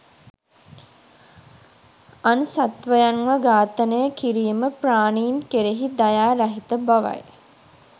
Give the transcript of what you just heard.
අන් සත්වයන්ව ඝාතනය කිරීම ප්‍රාණීන් කෙරෙහි දයා රහිත බවයි